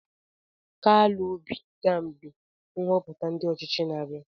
KALU OBI ga mgbe nhoputa ndi ochichi na-abia.